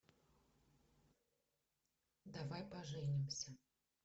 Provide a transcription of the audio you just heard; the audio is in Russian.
давай поженимся